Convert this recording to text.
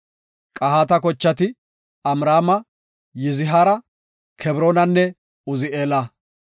Qahaata kochati Amraama, Yizihaara, Kebroonanne Uzi7eela.